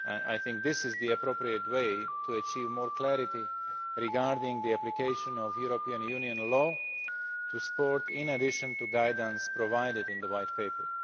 I think this is the appropriate way to achieve more clarity regarding the application of European Union law to sport, in addition to guidance provided in the white paper.